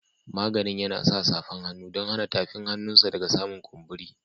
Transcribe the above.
Maginin yana sa safan hannu dan hana tafin hannun sa daga samun kumburi.